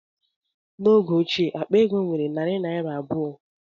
N'oge ochie, akpa ego nwere narị naira abụọ